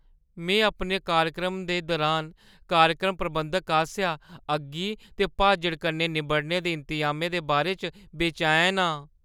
में अपने कार्यक्रम दे दुरान कार्यक्रम प्रबंधकै आसेआ अग्गी ते भाजड़ा कन्नै निब्बड़ने दे इंतजामें दे बारे च बेचैन हा।